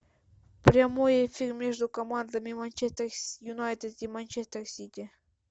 прямой эфир между командами манчестер юнайтед и манчестер сити